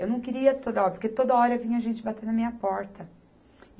Eu não queria toda hora, porque toda hora vinha gente batendo na minha porta.